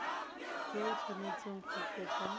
yo o tshwanetseng go kopa